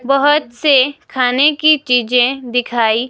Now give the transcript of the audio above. बहुत से खाने की चीजें दिखाई--